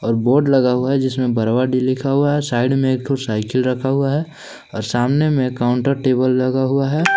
Board लगा हुआ है जिसमें बरवा डीह लिखा हुआ है साइड में एक ठो साइकिल रखा हुआ है और सामने में काउंटर टेबल लगा हुआ है।